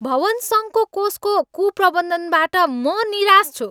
भवन सङ्घको कोषको कुप्रबन्धनबाट म निराश छु।